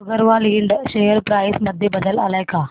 Agarwal Ind share price मध्ये बदल आलाय का